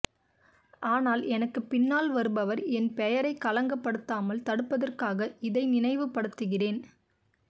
ஆனால் எனக்குப் பின்னால் வருபவர் என் பெயரைக் களங்கப் படுத்தாமல் தடுப்பதற்காக இதை நினைவு படுத்துகிறேன்